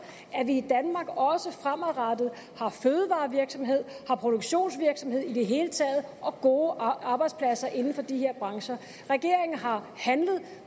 at vi i danmark også fremadrettet har fødevarevirksomhed at vi har produktionsvirksomhed i det hele taget og gode arbejdspladser inden for de her brancher regeringen har handlet